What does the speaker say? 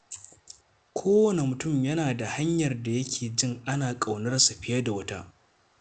Kowane mutum yana da hanyar da yake jin ana ƙaunarsa fiye da wata.